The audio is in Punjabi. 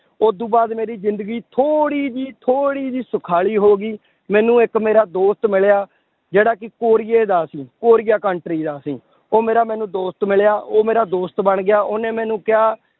ਉਦੋਂ ਬਾਅਦ ਮੇਰੀ ਜ਼ਿੰਦਗੀ ਥੋੜ੍ਹੀ ਜਿਹੀ, ਥੋੜ੍ਹੀ ਜਿਹੀ ਸੁਖਾਲੀ ਹੋ ਗਈ ਮੈਨੂੰ ਇੱਕ ਮੇਰਾ ਦੋਸਤ ਮਿਲਿਆ ਜਿਹੜਾ ਕਿ ਕੋਰੀਏ ਦਾ ਸੀ, ਕੋਰੀਆ country ਦਾ ਸੀ, ਉਹ ਮੇਰਾ ਮੈਨੂੰ ਦੋਸਤ ਮਿਲਿਆ, ਉਹ ਮੇਰਾ ਦੋਸਤ ਬਣ ਗਿਆ ਉਹਨੇ ਮੈਨੂੰ ਕਿਹਾ